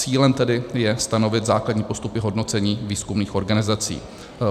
Cílem tedy je stanovit základní postupy hodnocení výzkumných organizací.